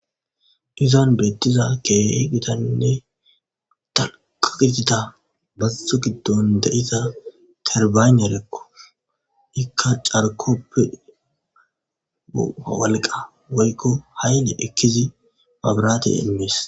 Izan betiza keehi gitane dalgga giddiza bazo giddon diza teribanerko ika carkope woliqa woykko hayiliya ekidi mabirate immes.